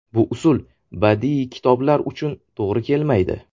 Bu usul badiiy kitoblar uchun to‘g‘ri kelmaydi.